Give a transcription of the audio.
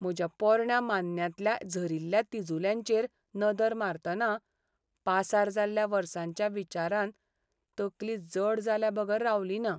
म्हज्या पोरण्या मान्न्यांतल्या झरील्ल्या तिजुल्यांचेर नदर मारतना, पासार जाल्ल्या वर्सांच्या विचारान तकली जड जाल्ल्याबगर रावलीना.